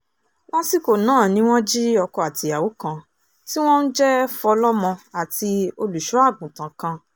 lásìkò náà ni wọ́n jí ọkọ àtìyàwó kan tí wọ́n ń jẹ́ fọlọ́mọ àti olùṣọ́àgùntàn kan